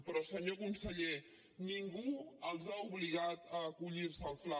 però senyor conseller ningú els ha obligat a acollir se al fla